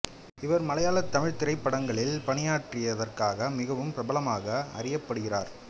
இவர் மலையாள தமிழ் திரைப்படங்களில் பணியாற்றியதற்காக மிகவும் பிரபலமாக அறியப்படுகிறார்